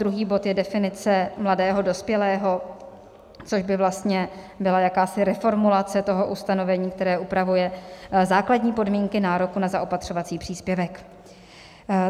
Druhý bod je definice mladého dospělého, což by vlastně byla jakási reformulace toho ustanovení, které upravuje základní podmínky nároku na zaopatřovací příspěvek.